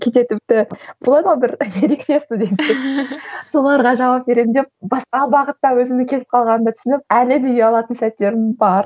кейде тіпті болады ғой бір ерекше студенттер соларға жауап беремін деп басқа бағытта өзімнің кетіп қалғанымды түсініп әлі де ұялатын сәттерім бар